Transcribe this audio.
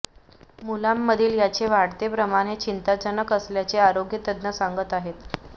मुलांमधील याचे वाढते प्रमाण हे चिंताजनक असल्याचे आरोग्य तज्ज्ञ सांगत आहेत